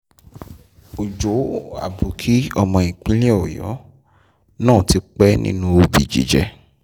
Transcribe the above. ọjọ́ àbòkí ọmọ bíbí ìpínlẹ̀ ọ̀yọ́ náà ti pẹ́ nínú òbí jíjẹ́